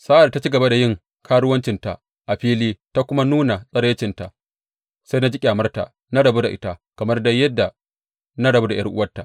Sa’ad da ta ci gaba da yin karuwancinta a fili ta kuma nuna tsiraicinta, sai na ji ƙyamarta, na rabu da ita, kamar dai yadda na rabu da ’yar’uwarta.